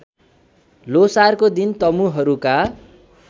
ल्होसारको दिन तमुहरूका